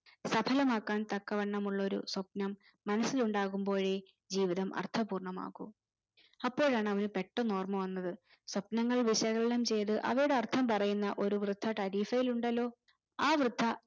സഫലമാക്കാൻ തക്കവണ്ണമുള്ളൊരു സ്വപ്‌നം മനസ്സിൽ ഉണ്ടാകുമ്പോഴേ ജീവിതം അർത്ഥപൂർണ്ണമാകു അപ്പോഴാണ് അവന് പെട്ടന്ന് ഓർമ്മ വന്നത് സ്വപ്‌നങ്ങൾ വിശകലനം ചെയ്തു അവയുട അർത്ഥം പറയുന്ന ഒരു വൃദ്ധ തരീസായിലുണ്ടല്ലോ ആ വൃദ്ധ